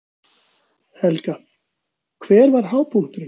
Helga: Hver var hápunkturinn?